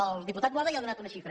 el diputat boada ja ha donat una xifra